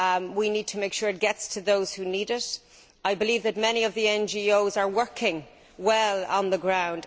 We need to make sure it gets to those who need it, and I believe that many of the NGOs are working well on the ground.